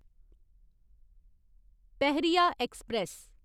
Pahariya express